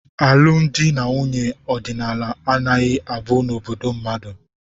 Alụmdi na nwunye ọdịnala agaghị abu n'obodo mmadụ.